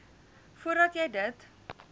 voordat jy dit